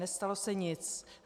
Nestalo se nic.